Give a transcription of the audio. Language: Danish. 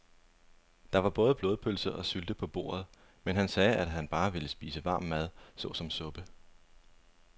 Der var både blodpølse og sylte på bordet, men han sagde, at han bare ville spise varm mad såsom suppe.